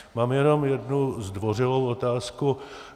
Mám jenom jednu zdvořilou otázku.